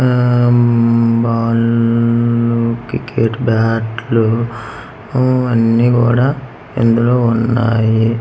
ఆ మ్మ్ బాల్లు క్రికెట్ బ్యాట్ లు ఆ అన్నీ కూడా ఇందులో ఉన్నాయి.